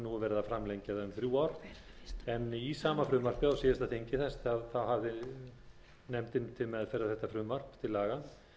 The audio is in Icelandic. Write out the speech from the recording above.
um þrjú ár en í sama frumvarpi á síðasta þingi hafði nefndin til meðferðar þetta frumvarp til laga